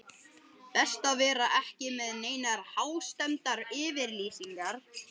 Best að vera ekki með neinar hástemmdar yfirlýsingar.